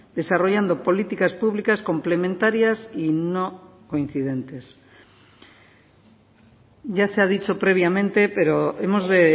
desarrollando políticas públicas complementarias y no coincidentes ya se ha dicho previamente pero hemos de